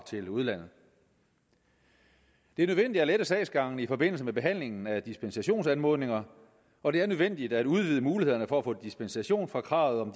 til udlandet det er nødvendigt at lette sagsgangen i forbindelse med behandlingen af dispensationsanmodninger og det er nødvendigt at udvide mulighederne for at få dispensation fra kravet om